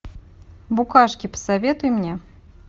букашки посоветуй мне